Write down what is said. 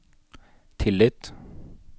tillit